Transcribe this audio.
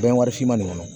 Bɛn warisiman nin kɔnɔ